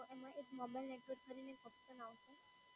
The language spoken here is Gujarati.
તો એમાં એક મોબાઇલ નેટવર્ક કરીને એક ઓપ્શન આવશે.